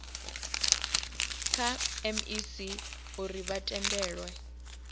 kha mec uri vha tendelwe